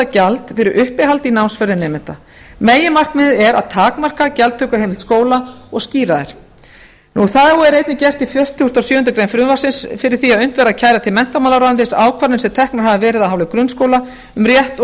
gjald fyrir uppihald í námsferðum nemenda meginmarkmiðið er að takmarka gjaldtökuheimild skóla og skýra þær þá er einnig gert ráð fyrir því í fertugustu og sjöundu greinar frumvarpsins að unnt verði að kæra til menntamálaráðuneytisins ákvarðanir sem teknar hafa verið af hálfu grunnskóla um rétt og